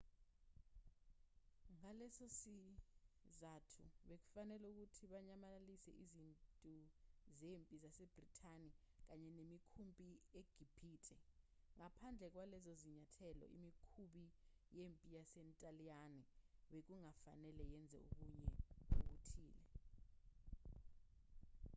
ngalesosizathu bekufanele ukuthi banyamalalise izintu zempi zasebrithani kanye nemikhumpi egibhithe. ngaphandle kwalezozinyathelo imikhumbi yempi yasentaliyane bekungafanele yenze okunye okuthile